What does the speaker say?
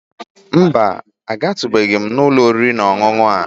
Mba, agatụbeghị m ụlọ oriri na ọṅụṅụ a